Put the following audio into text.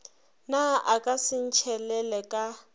na a ka sentšhelele ka